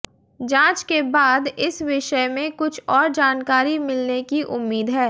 जाँच के बाद इस विषय में कुछ और जानकारी मिलने की उम्मीद है